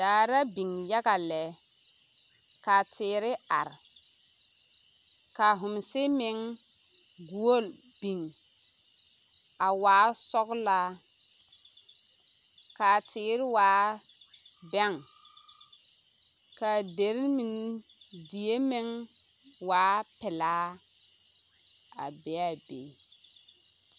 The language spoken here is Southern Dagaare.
Daare la biŋ yaɡa lɛ ka teere are ka homse meŋ ɡuole biŋ a waa sɔɡelaa ka a teere waa bɛŋ ka die meŋ waa pelaa a be a be.